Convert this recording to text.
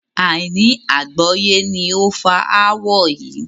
Àìní àgbọ́yé ni ó fa ááwọ̀ yí